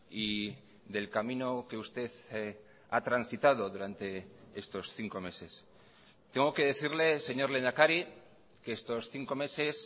y del camino que usted ha transitado durante estos cinco meses tengo que decirle señor lehendakari que estos cinco meses